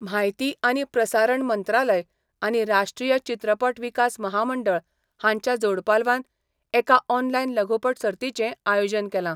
म्हायती आनी प्रसारण मंत्रालय आनी राष्ट्रीय चित्रपट विकास महामंडळ हांच्या जोड पालवान एका ऑनलायन लघुपट सर्तीचें आयोजन केलां.